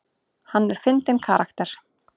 Hann er fyndinn karakter.